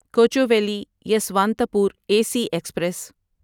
Kochuveli Yesvantpur A C express